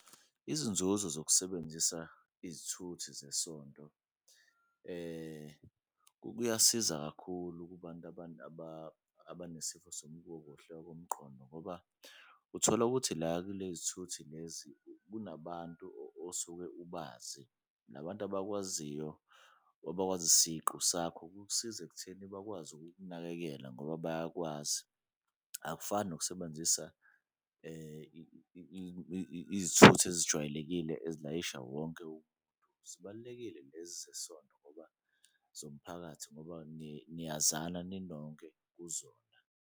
Izinzuzo zokusebenzisa izithuthi zesonto kuyasiza kakhulu kubantu abanesifo komqondo ngoba uthola ukuthi la kule zithuthi lezi kunabantu osuke ubazi, la bantu abakwaziyo or abakwazi isiqu sakho kukusiza ekutheni bakwazi ukukunakekela ngoba bayakwazi. Akufani nokusebenzisa izithuthi ezijwayelekile ezilayisha wonke umuntu, zibalulekile lezi zesonto ngoba zomphakathi ngoba niyazana ninonke kuzona.